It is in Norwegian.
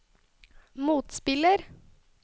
motspiller